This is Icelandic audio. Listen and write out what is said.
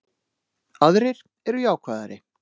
Aðrir eru jákvæðari